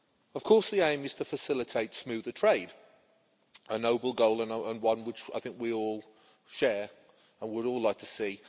Of course, the aim is to facilitate smoother trade a noble goal, and one which I think we all share and would all like to see.